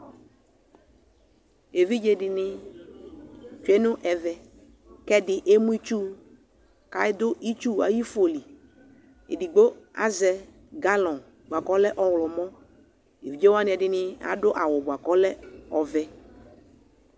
Evidze dɩnɩ tsue nʋ ɛvɛ kʋ ɛdɩ emu itsu kʋ adʋ itsu ayʋ ifo li Edigbo azɛ galɔ̃ bʋa kʋ ɔlɛ ɔɣlɔmɔ Evidze wanɩ ɛdɩnɩ adʋ awʋ bʋa kʋ ɔlɛ ɔvɛ